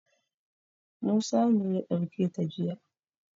Musa ne ya ɗauke ta jiya.